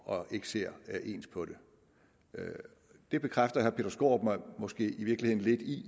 og ikke ser ens på det det bekræfter herre peter skaarup mig måske i virkeligheden lidt i